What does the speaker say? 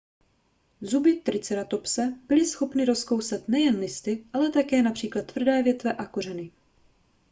zuby triceratopse byly schopny rozkousat nejen listy ale také například tvrdé větve a kořeny